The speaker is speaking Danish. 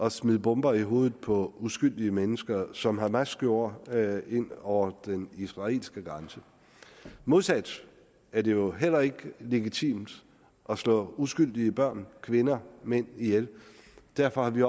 at smide bomber i hovedet på uskyldige mennesker som hamas gjorde ind over den israelske grænse modsat er det jo heller ikke legitimt at slå uskyldige børn kvinder mænd ihjel derfor har vi